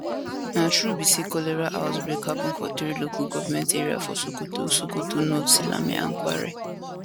na true be say cholera outbreak happun for three local goments area for sokoto sokoto north silame and kware